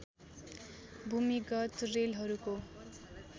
भूमिगत रेलहरूको